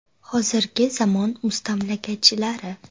Hozirgi zamon mustamlakachilari.